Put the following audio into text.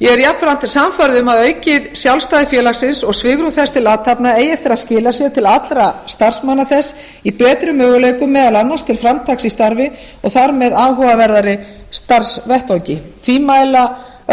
ég er jafnframt sannfærð um að aukið sjálfstæði félagsins og svigrúm þess til athafna eigi eftir að skila sér til allra starfsmanna þess í betri möguleikum meðal annars til framtaks í starfi og þar með áhugaverðari starfsvettvangi því mæla